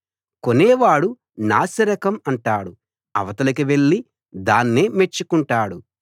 కొనేవాడు నాసిరకం అంటాడు అవతలికి వెళ్లి దాన్నే మెచ్చుకుంటాడు